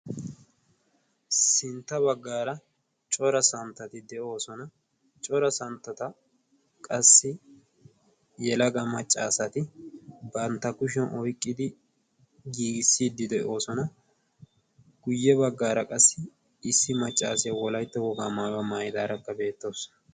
sintta baggaara cora santtati de'oosona cora santtata qassi yelaga maccaasati bantta kushiyan oyqqidi giigissiiddi de'oosona guyye baggaara qassi issi maccaasiyaa wolaitta wogaa maayuwaa maayidaaragga beettoosona